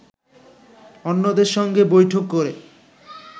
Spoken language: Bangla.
অন্যদের সঙ্গে বৈঠক করে